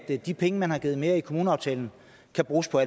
at de penge man har givet mere i kommuneaftalen kan bruges på